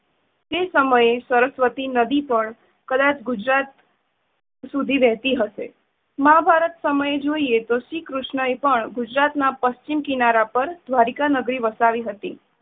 તે સમયે સરસવતી નદી પણ કદાચ ગુજરાત સુધી વહેતી હશે. મહાભારત સમયે જોઈએ તો શ્રી કૃષ્ણએ પણ ગુજરાતના પશ્ચિમ કિનારા પર દ્વારિકા નગરી વસાવી હતી.